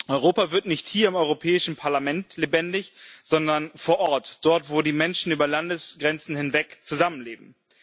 Europa wird nicht hier im Europäischen Parlament lebendig, sondern vor Ort, dort, wo die Menschen über Landesgrenzen hinweg zusammenleben.